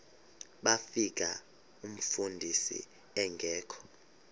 bafika umfundisi engekho